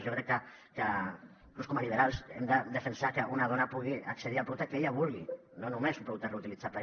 jo crec que inclús com a liberals hem de defensar que una dona pugui accedir al producte que ella vulgui no només un producte reutilitzable